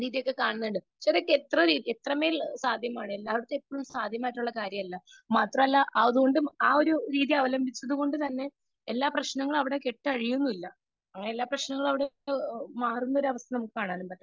Speaker 2 ഇത് കാണുന്നുണ്ട് . ഇവരൊക്കെ എത്ര മേൽ സാധ്യമാണ് എല്ലാ പേർക്കും കാര്യമല്ല. മാത്രമല്ല ആ ഒരു രീതി അവലംബിച്ചത് കൊണ്ട് തന്നെ എല്ലാ പ്രശ്നങ്ങളും അവിടെ കെട്ടഴിയുന്നുമില്ല അങ്ങനെ എല്ലാ പ്രശ്നങ്ങളും അവിടെ മാറുന്ന അവസ്ഥ നമുക്ക കാണാൻ പറ്റത്തില്ല